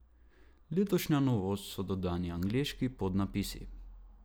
Letošnja novost so dodani angleški podnapisi.